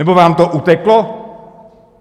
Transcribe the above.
Nebo vám to uteklo?